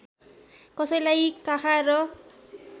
कसैलाई काखा र